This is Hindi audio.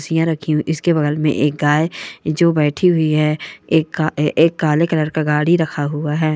कुर्सियाँ रखी हुई इसके बगल में एक गाय जो बैठी हुई है एक का एक काले कलर का गाड़ी रखा हुआ है।